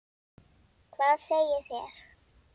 Hvað segið þér?